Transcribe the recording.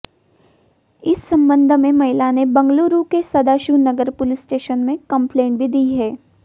इस संबंध में महिला ने बंगलूरू के सदाशिवनगर पुलिस स्टेशन में कंप्लेंट भी दी है